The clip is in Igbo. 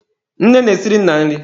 Nne na-esiri nna nri.